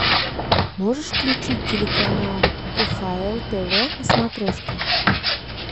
можешь включить телеканал кхл тв на смотрешке